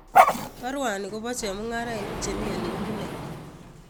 Barwani kopo chemung'arainik chemii ole kipunee